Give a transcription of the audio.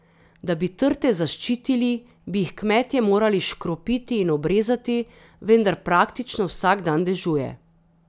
Da bi trte zaščitili, bi jih kmetje morali škropiti in obrezati, vendar praktično vsak dan dežuje.